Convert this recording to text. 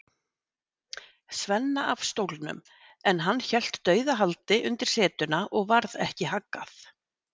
Svenna af stólnum, en hann hélt dauðahaldi undir setuna og varð ekki haggað.